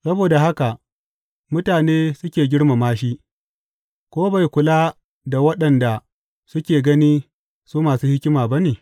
Saboda haka, mutane suke girmama shi, ko bai kula da waɗanda suke gani su masu hikima ba ne?